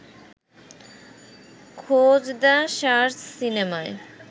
খোঁজ the search সিনেমায়